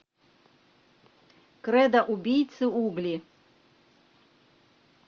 кредо убийцы угли